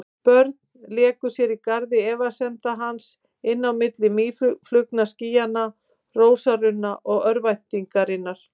Börn léku sér í garði efasemda hans, inn á milli mýflugnaskýja og rósarunna og örvæntingar.